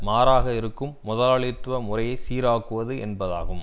மாறாக இருக்கும் முதலாளித்துவ முறையை சீராக்குவது என்பதாகும்